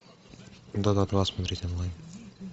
дота два смотреть онлайн